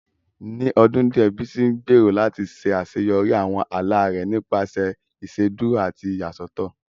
Ní ọdún díẹ̀, Bísí ń gbèrò láti ṣàṣeyọrí àwọn ala rẹ̀ nípasẹ̀ ìṣèdúró àti ìyàsọ́tọ̀